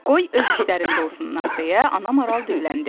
Qoy öz işlərində olsunlar deyə ana maral dilləndi.